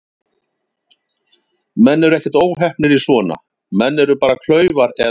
Menn eru ekkert óheppnir í svona, menn eru bara klaufar eða ekki.